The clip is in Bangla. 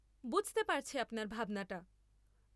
বুঝতে পারছি আপনার ভাবনাটা।